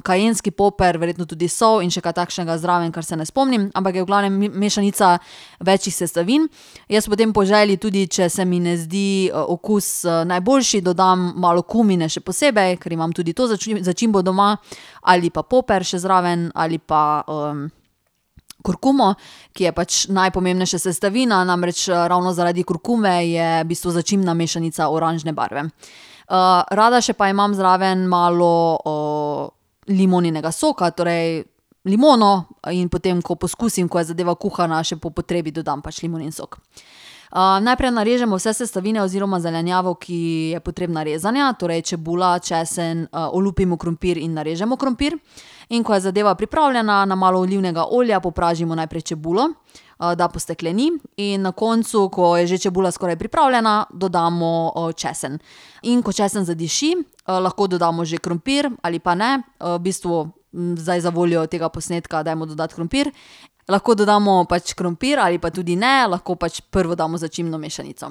kajenski papir, verjetno tudi sol in še kaj takšnega zraven, kar se ne spomnim, ampak je v glavnem mešanica večih sestavin. Jaz potem po želji, če se mi ne zdi okus, najboljši, dodam malo kumine še posebej, ker imam tudi to začimbo doma, ali pa papir še zraven ali pa, kurkumo, ki je pač najpomembnejša sestavina, namreč, ravno zaradi kurkume je v bistvu začimbna mešanica oranžne barve. rada še pa imam zraven malo, limoninega soka, torej limono. In potem ko poskusim, ko je zadeva kuhana, še po potrebi dodam pač limonin sok. najprej narežemo vse sestavine oziroma zelenjavo, ki je potrebna rezanja, torej čebula, česen, olupimo krompir in narežemo krompir. In ko je zadeva pripravljena, na malo olivnega olja popražimo najprej čebulo, da postekleni, in na koncu, ko je že čebula skoraj pripravljena, dodamo, česen. In ko česen zadiši, lahko dodamo že krompir, ali pa ne. v bistvu, zdaj zavoljo tega posnetka dajmo dodati krompir. Lahko dodamo pač krompir ali pa tudi ne. Lahko pač prvo damo začimbno mešanico.